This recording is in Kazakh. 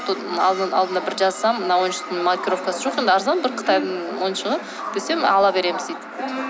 алдында бір жазсам мына ойыншықтың маркировкасы жоқ енді арзан бір қытайдың ойыншығы десем ала береміз дейді